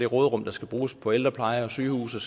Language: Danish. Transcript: råderum der skal bruges på ældrepleje sygehuse